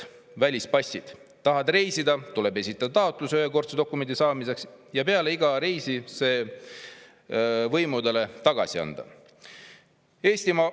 taheti reisida, tuli esitada taotlus ühekordse dokumendi saamiseks ja peale iga reisi see võimudele tagasi anda.